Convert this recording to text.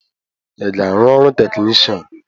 Ị ga-arụ ọrụ technishan?